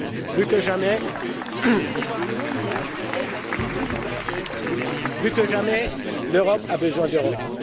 plus que jamais, l'Europe a besoin d'Europe!